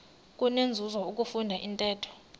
kunenzuzo ukufunda intetho